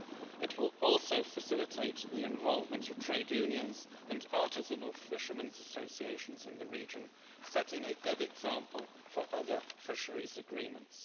It will also facilitate the involvement of trade unions and artisanal fishermen's associations in the region, setting a good example for other fisheries agreements.